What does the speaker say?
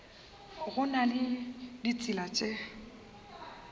go na le ditsela tše